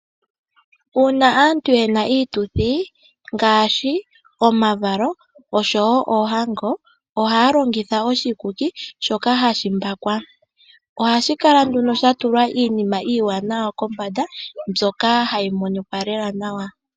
Uuna aantu yena iituthi ngaashi omavalo oshowo oohango ohaya longitha oshikuki shoka hashi mbakwa . Ohashi kala nduno shatulwa iinima iiwanawa kombanda mbyoka hayi monika nawa.